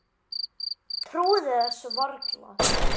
Trúði þessu varla.